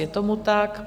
Je tomu tak.